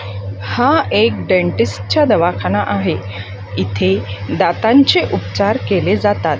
हा एक डेंटिस्टच्या दवाखाना आहे इथे दातांचे उपचार केले जातात.